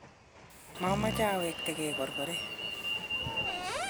mameche awektegei korkoret